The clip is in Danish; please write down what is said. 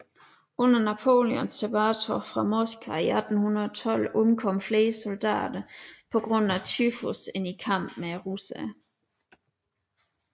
Under Napoleons tilbagetog fra Moskva i 1812 omkom flere soldater pga tyfus end i kamp med russerne